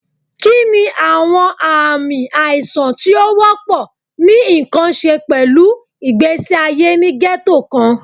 Kini awọn aami aisan ti o wọpọ ni nkan ṣe pẹlu igbesi aye ni ghetto kan?